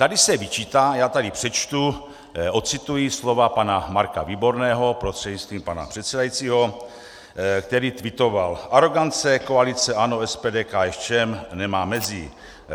Tady se vyčítá - já tady přečtu, odcituji slova pana Marka Výborného prostřednictvím pana předsedajícího, který kvitoval: Arogance koalice ANO, SPD, KSČM nemá mezí.